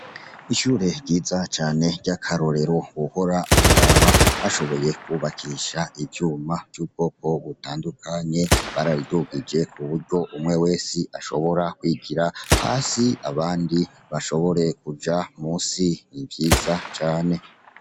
Ishure ryiza cane ry'akarorero wohora uraraba, bashoboye kubakisha ivyuma vy'ubwoko butandukanye, barabidugije kuburyo umwe wese ashobora kwigira hasi, abandi bashobora kuja munsi n'ivyiza cane.